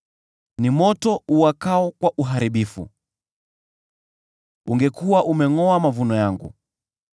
Ni moto uwakao kwa Uharibifu; ungekuwa umengʼoa mavuno yangu.